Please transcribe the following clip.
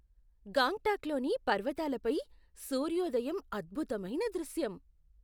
గాంగ్టక్లోని పర్వతాలపై సూర్యోదయం అద్భుతమైన దృశ్యం .